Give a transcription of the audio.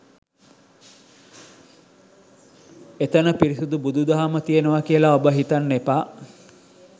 එතන පිරිසිදු බුදු දහම තියෙනව කියල ඔබ හිතන්න එපා